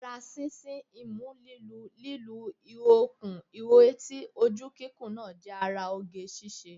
Ara sísín, imú lílu, lí lu ihò kún ihò etí, ojú kíkùn náà jẹ́ ara ara oge ṣíṣe